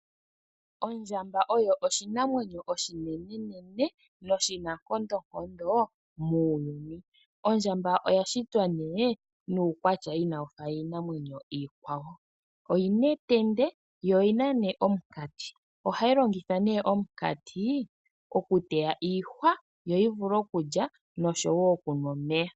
Ondjamba oyo oshinamwenyo oshinenenene noshi nankondonkondo muuyuni . Ondjamba oya shitwa nuukwatya inayi fa iimaliwa iikwawo. Oyina etende yo oyina omunkati. Ohayi longitha omunkati oku teya iihwa yo yi vule oku lya oshowo oku nwa omeya.